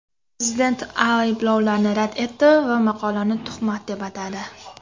Prezident ayblovlarni rad etdi va maqolani tuhmat deb atadi.